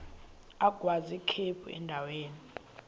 agwaz ikhephu endaweni